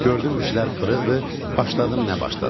Gördüm işlər fırıxdı, başladım nə başladım.